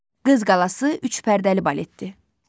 Qız qalası üç pərdəli baletdir.